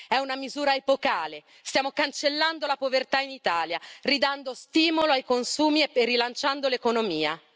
È una misura epocale, stiamo cancellando la povertà in Italia, ridando stimolo ai consumi e rilanciando l'economia.